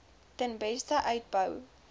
ten beste uitbou